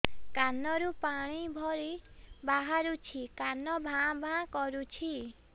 କାନ ରୁ ପାଣି ଭଳି ବାହାରୁଛି କାନ ଭାଁ ଭାଁ କରୁଛି